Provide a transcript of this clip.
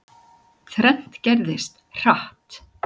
Þrennt gerðist, hratt.